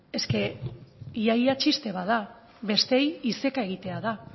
eske ia ia txiste bat da besteei iseka egitea da